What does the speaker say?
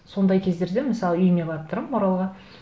сондай кездерде мысалы үйіме барып тұрамын оралға